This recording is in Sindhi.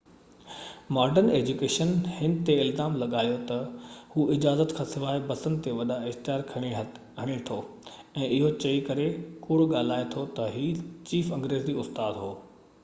ماڊرن ايجيوڪيشن هن تي الزام لڳايو تہ هو اجازت کانسواءِ بسن تي وڏا اشتهار هڻي ٿو ۽ اهو چئي ڪري ڪوڙ ڳالهائي ٿو تہ هي چيف انگريزي استاد هو